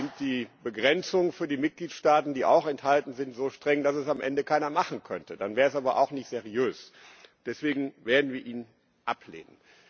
Sind die Begrenzungen für die Mitgliedsstaaten, die auch enthalten sind, so streng, dass es am Ende keiner machen könnte? Dann wäre es aber auch nicht seriös. Deswegen werden wir ihn ablehnen.